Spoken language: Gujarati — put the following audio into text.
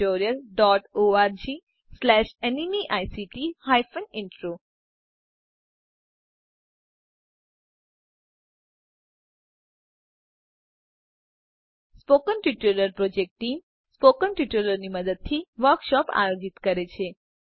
001108 001010 સ્પોકન ટ્યુટોરીયલ પ્રોજેક્ટટીમ સ્પોકન ટ્યુટોરીયલોની મદદથી વર્કશોપો આયોજિત કરે છે